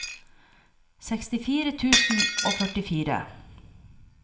sekstifire tusen og førtifire